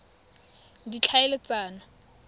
ditlhaeletsano